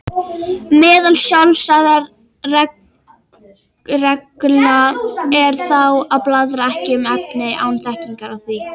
Meðal sjálfsagðra reglna er þá að blaðra ekki um efni án þekkingar á því.